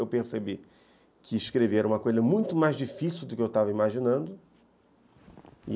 Eu percebi que escrever é uma coisa muito mais difícil do que eu estava imaginando.